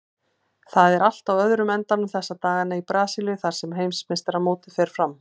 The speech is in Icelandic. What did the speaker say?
Það er allt á öðrum endanum þessa dagana í Brasilíu þar sem heimsmeistaramótið fer fram.